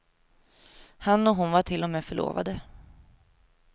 Han och hon var till och med förlovade.